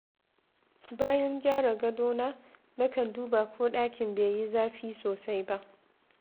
Bayan gyara gadona, nakan duba ko ɗakin bai yi zafi sosai ba.